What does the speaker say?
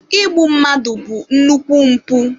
Igbu mmadụ bụ nnukwu mpụ.